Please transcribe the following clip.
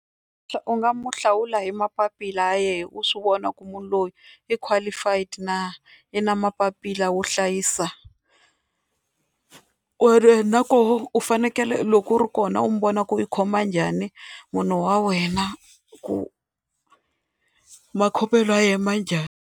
U nga mu hlawula hi mapapila yena u swi vona ku munhu loyi i qualified na, u na mapapila wo hlayisa ku ri na koho u fanekele loko u ri kona u mi vona ku ri u khoma njhani munhu wa wena ku makhomelo ya yena ma njhani.